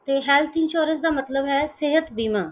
ਤੇ health insurance ਦਾ ਮਤਲਬ ਹੈ ਸਿਹਤ ਬੀਮਾ।